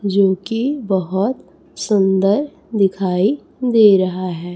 जो की बहोत सुंदर दिखाई दे रहा है।